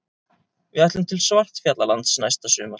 Við ætlum til Svartfjallalands næsta sumar.